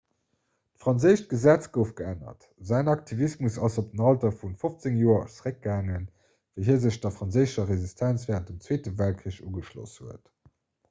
d'franséischt gesetz gouf geännert säin aktivismus ass op den alter vu 15 joer zeréckgaangen wéi hie sech der franséischer resistenz wärend dem zweete weltkrich ugeschloss huet